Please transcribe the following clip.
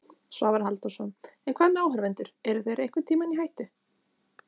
Svavar Halldórsson: En hvað með áhorfendur, eru þeir einhvern tíma í hættu?